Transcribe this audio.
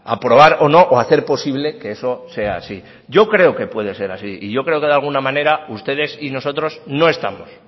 aprobar o no o hacer posible que eso sea así yo creo que puede ser así y yo creo que de alguna manera ustedes y nosotros no estamos